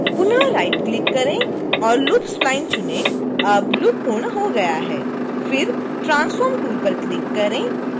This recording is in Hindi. पुनः राइटक्लिक करें और loop spline चुनें अब लूप पूर्ण हो गया है